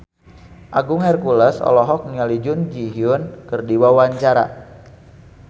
Agung Hercules olohok ningali Jun Ji Hyun keur diwawancara